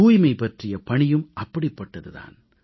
தூய்மை பற்றிய பணியும் அப்படிப்பட்டது தான்